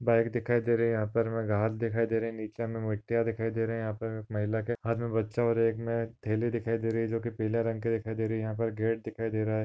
Bike दिखाई दे रही यहा पर हमे घास दिखाई दे रही है नीचे हमे मिट्टिया दिखाई दे रही है यहा पर महिला के हाथ में बच्चा और एक में थैले दिखाई दे रही है जो की पीले रंग की दिखाई दे रही है यहा पर गेट दिखाई दे रहा है।